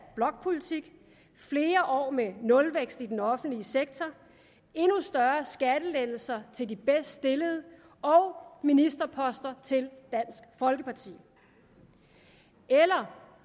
blokpolitik flere år med nulvækst i den offentlige sektor endnu større skattelettelser til de bedst stillede og ministerposter til dansk folkeparti eller